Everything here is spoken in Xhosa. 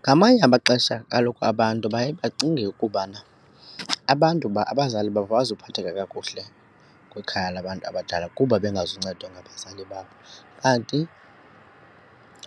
Ngamanye amaxesha kaloku abantu baye bacinge ukubana abantu abazali babo abazuphatheka kakuhle kwikhaya labantu abadala kuba bengazuncedwa ngabazali kuba babo. Kanti